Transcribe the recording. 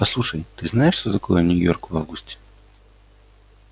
послушай ты знаешь что такое нью-йорк в августе